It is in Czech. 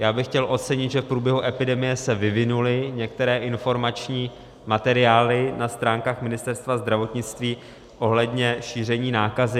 Já bych chtěl ocenit, že v průběhu epidemie se vyvinuly některé informační materiály na stránkách Ministerstva zdravotnictví ohledně šíření nákazy.